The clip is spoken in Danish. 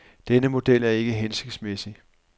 Denne model er ikke hensigtsmæssig.